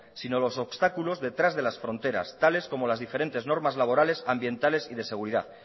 sino los obstáculos detrás de las fronteras tales como las diferentes normas laborales ambientales y de seguridad